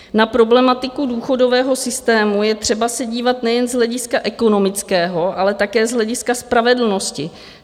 Na problematiku důchodového systému je třeba se dívat nejen z hlediska ekonomického, ale také z hlediska spravedlnosti.